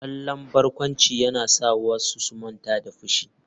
Kallon barkwanci yana sa wasu su manta da fushinsu.